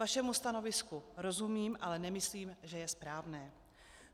Vašemu stanovisku rozumím, ale nemyslím, že je správné.